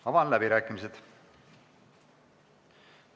Avan läbirääkimised.